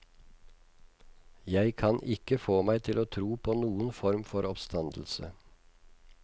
Jeg kan ikke få meg til å tro på noen form for oppstandelse.